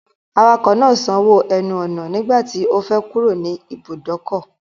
Awakọ̀ náà sanwó ẹnu ọ̀nà nígbà tí ó fẹ́ kúrò nì ìbùdókọ̀.